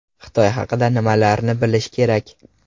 Xitoy haqida nimalarni bilish kerak?